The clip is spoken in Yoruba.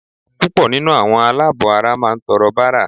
Púpọ̀ nínú àwọn aláàbọ̀-ara máà ń tọrọ bárà